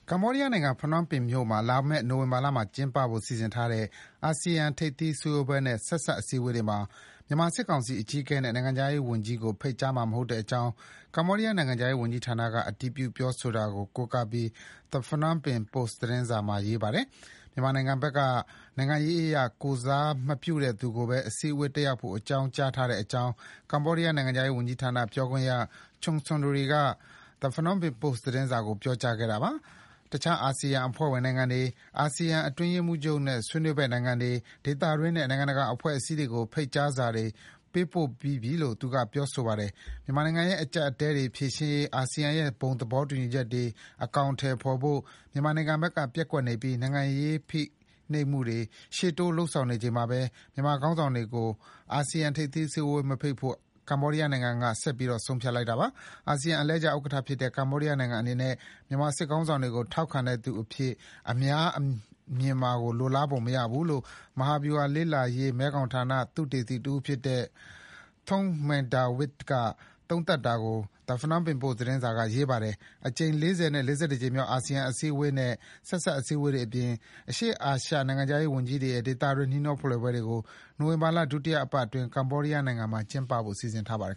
ကမ္ဘောဒီးယားနိုင်ငံ Phnom Penh မြို့မှာ ကျင်းပဖို့ စီစဉ်ထားတဲ့ အာဆီယံထိပ်သီး ဆွေးနွေးပွဲနဲ့ ဆက်စပ် အစည်းအဝေးတွေမှာ မြန်မာစစ်ကောင်စီအကြီးအကဲနဲ့ နိုင်ငံခြားရေးဝန်ကြီးကို ဖိတ်မှာမဟုတ်ကြောင်း ကမ္ဘောဒီးယားနိုင်ငံခြားရေးဝန်ကြီးဌာနက အတည်ပြုတာကို The Phnom Penh Post သတင်းစာမှာ ရေးပါတယ်။ မြန်မာနိုင်ငံဘက်က နိုင်ငံရေးအရကိုယ်စားမပြုတဲ့သူကိုပဲ အစည်းအဝေးတက်ရောက်ဖို့ အကြောင်းကြားထားကြောင်း ကမ္ဘောဒီးယားနိုင်ငံခြားရေးဝန်ကြီးဌာန ပြောခွင့်ရ Chum Sunry က The Phnom Penh Post သတင်းစာကို ပြောကြားတာပါ။ တခြား အာဆီယံ အဖွဲ့ဝင်နိုင်ငံတွေ၊ အာဆီယံအတွင်းရေးမှူးချုပ်နဲ့ ဆွေးနွေးဖက်နိုင်ငံတွေ၊ ဒေသတွင်းနဲ့ နိုင်ငံတကာအဖွဲ့အစည်းတွေကို ဖိတ်ကြားစာတွေ ပေးပို့ပြီးပြီလို့ Chum Sunry က ပြောဆိုပါတယ်။ မြန်မာနိုင်ငံရဲ့ အကြပ်အတည်းတွေ ဖြေရှင်းရေး အာဆီယံရဲ့ ဘုံသဘောတူညီချက်တွေ အကောင်အထည်ဖေါ်ဖို့ မြန်မာနိုင်ငံဘက်က ပျက်ကွက်နေပြီး နိုင်ငံရေးဖိနှိပ်မှုတွေ ရှေ့တိုးလုပ်ဆောင်နေချိန်မှာပဲ မြန်မာခေါင်းဆောင်တွေကို အာဆီယံ ထိပ်သီးအစည်းအဝေးမဖိတ်ဖို့ ကမ္ဘောဒီးယားနိုင်ငံက ဆက်ပြီး ဆုံးဖြတ်တာပါ။ အာဆီယံ အလှည့်ကျဥက္ကဋ္ဌဖြစ်တဲ့ ကမ္ဘောဒီးယားနိုင်ငံအနေနဲ့ မြန်မာစစ်တပ်ခေါင်းဆောင်တွေကို ထောက်ခံတဲ့သူအဖြစ် အများကမြင်မှာကို လိုလားပုံမရဘူးလို့ မဟာဗျူဟာလေ့လာရေး မဲခေါင်ဌာန သုတေသီ တဦးဖြစ်တဲ့ Thong Mengdavid က သုံးသပ်တာကို The Phnom Penh Post သတင်းစာက ရေးပါတယ်။ အကြိမ် ၄၀ နဲ့ ၄၁ ကြိမ်မြောက် အာဆီယံထိပ်သီးအစည်းအဝေးနဲ့ ဆက်စပ်အစည်းအဝေးတွအပြင် အရှေ့အာရှ နိုင်ငံခြားရေးဝန်ကြီးတွေနဲ့ ဒေသတွင်း နှီးနှောဖလှယ်ပွဲတွေကို နိုဝင်ဘာလ ဒုတိယပတ်အတွင်း ကမ္ဘောဒီးယားနိုင်ငံမှာ ကျင်းပဖို့ စီစဉ်ထားပါတယ်